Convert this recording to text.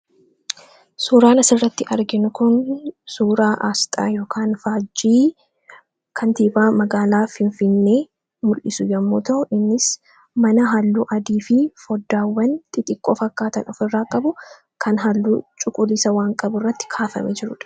Suuraan asirratti arginu kun suuraa aasxaa yookiin faajjii Kentisbeare magaalaa Finfinnee mul'isu yoo ta’u, innis mana halluu adii fi foddaawwan xixiqqoo fakkaatan ofirraa qabu kan halluu cuquliisa fakkaatu qabu irratti kaafamee jirudha.